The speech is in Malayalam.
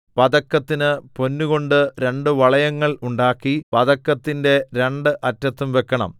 പതക്കത്തിന് പൊന്നുകൊണ്ട് രണ്ട് വളയങ്ങൾ ഉണ്ടാക്കി പതക്കത്തിന്റെ രണ്ട് അറ്റത്തും വെക്കണം